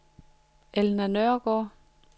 Elna Nørgaard